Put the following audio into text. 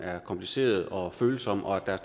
er kompliceret og følsom og at der er